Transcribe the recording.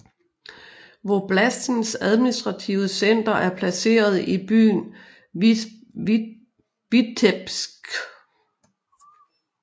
Voblastens administrative center er placeret i byen Vitebsk